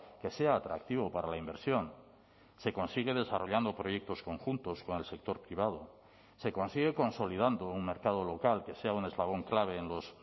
que sea atractivo para la inversión se consigue desarrollando proyectos conjuntos con el sector privado se consigue consolidando un mercado local que sea un eslabón clave en los